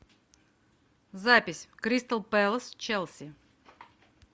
запись кристал пэлас челси